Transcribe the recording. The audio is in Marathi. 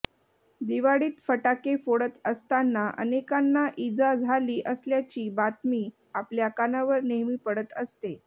दिवाळीत फटाके फोडत असताना अनेकांना इजा झाली असल्याची बातमी आपल्या कानावर नेहमी पडत असते